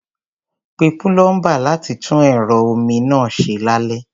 Pe púlọ́ḿbà láti tún ẹ̀rọ omi náà ṣe lálẹ́.